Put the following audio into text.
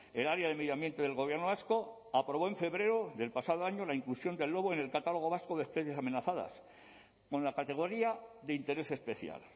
el área de medio ambiente del gobierno vasco aprobó en febrero del pasado año la inclusión del lobo en el catálogo vasco de especies amenazadas con la categoría de interés especial